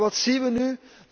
Maar wat zien we nu?